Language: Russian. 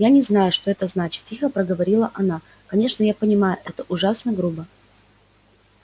я не знаю что это значит тихо проговорила она конечно я понимаю это ужасно грубо